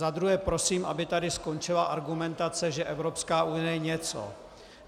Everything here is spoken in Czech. Za druhé prosím, aby tady skončila argumentace, že Evropská unie něco.